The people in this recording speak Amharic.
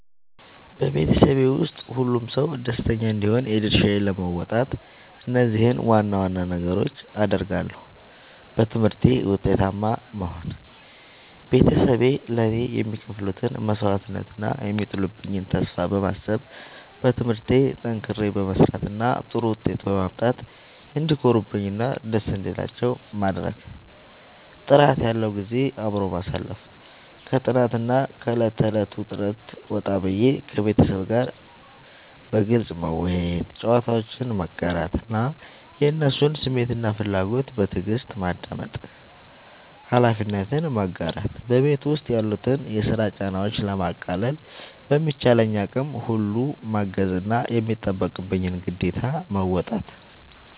በቤተሰቤ ውስጥ ሁሉም ሰው ደስተኛ እንዲሆን የድርሻዬን ለመወጣት እነዚህን ዋና ዋና ነገሮች አደርጋለሁ፦ በትምህርቴ ውጤታማ መሆን፦ ቤተሰቤ ለእኔ የሚከፍሉትን መስዋዕትነት እና የሚጥሉብኝን ተስፋ በማሰብ፣ በትምህርቴ ጠንክሬ በመስራት እና ጥሩ ውጤት በማምጣት እንዲኮሩብኝ እና ደስ እንዲላቸው ማድረግ። ጥራት ያለው ጊዜ አብሮ ማሳለፍ፦ ከጥናትና ከዕለት ተዕለት ውጥረት ወጣ ብዬ፣ ከቤተሰቤ ጋር በግልጽ መወያየት፣ ጨዋታዎችን መጋራት እና የእነሱን ስሜትና ፍላጎት በትዕግስት ማዳመጥ። ኃላፊነትን መጋራት፦ በቤት ውስጥ ያሉትን የስራ ጫናዎች ለማቃለል በሚቻለኝ አቅም ሁሉ ማገዝና የሚጠበቅብኝን ግዴታ መወጣት።